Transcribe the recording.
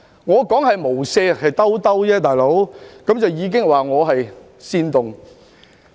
我說"無赦"只是"兜一兜"，便已被說成是煽動。